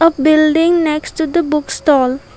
building next to the book stall.